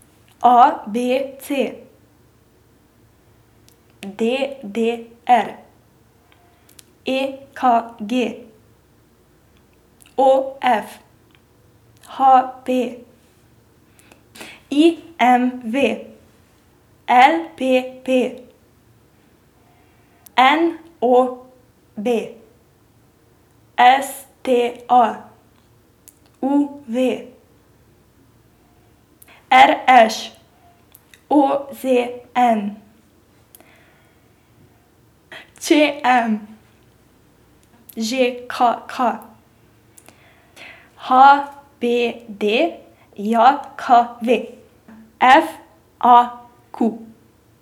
A B C; D D R; E K G; O F; H P; I M V; L P P; N O B; S T A; U V; R Š; O Z N; Č M; Ž K K; H B D J K V; F A Q.